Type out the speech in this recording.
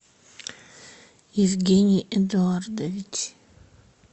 евгений эдуардович